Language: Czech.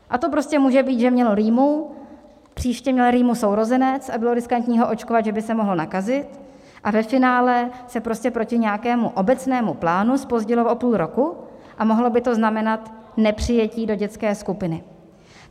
A to prostě může být, že mělo rýmu, příště měl rýmu sourozenec a bylo riskantní ho očkovat, že by se mohl nakazit, a ve finále se prostě proti nějakému obecnému plánu zpozdilo o půl roku a mohlo by to znamenat nepřijetí do dětské skupiny.